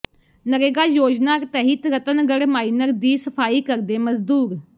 ਨਰੇਗਾ ਯੋਜਨਾ ਤਹਿਤ ਰਤਨਗੜ੍ਹ ਮਾਈਨਰ ਦੀ ਸਫਾਈ ਕਰਦੇ ਮਜ਼ਦੂਰ